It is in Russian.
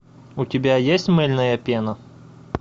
у тебя есть мыльная пена